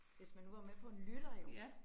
Hvis man nu var med på en lytter jo